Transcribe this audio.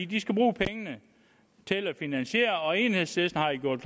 de skal bruge pengene til at finansiere og enhedslisten har jo gjort